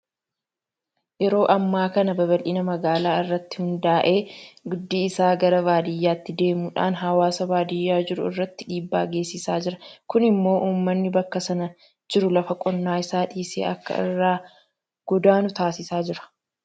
Yeroo ammaa kana babal'ina magaalaa irratti hundaa'ee guddi isaa gara baadiyyaatti deemuudhaan hawaasa baadiyyaa jiru irratti dhiibbaa geessisaa jira. Kun immoo uummanni bakka sana jiru lafa qonnaa isaa dhiisee akka irraa godaanu taasisaa jira.